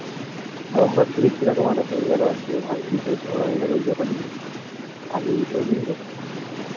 হঠাৎ করে কিরকম একটা হয়ে গেলো আর কি ওর ভাইয়ের সাথে ঝগড়া হয়ে গেলো ওই ব্যাপার নিয়েই তাই এই বিষয় নিয়েই বসছি